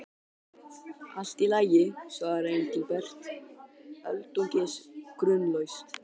Allt í lagi svaraði Engilbert, öldungis grunlaus.